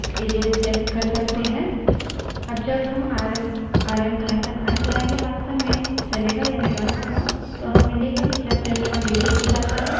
अब जब rm RM आरएमi चलायेंगे वास्तव में चलेगा यानि now होगा